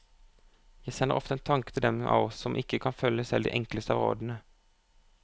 Jeg sender ofte en tanke til dem av oss som ikke kan følge selv de enkleste av rådene.